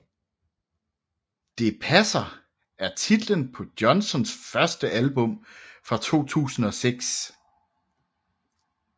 Det passer er titlen på Johnsons første album fra 2006